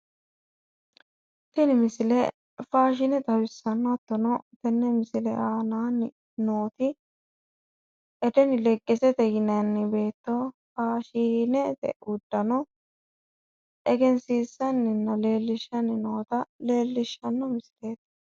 Tini misile faashine xawissanno hattono tenne misile aananni nooti edeni leggeseti yinanni beetto faashinete uddano egensiissanninna leellishshanni noota leellishshanno misileeti